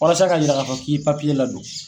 Walasa ka jira k'a fɔ k'i ye papiye la don.